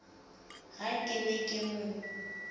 ha ke ne ke mo